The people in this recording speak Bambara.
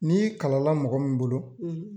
N'i kalan la mɔgɔ min bolo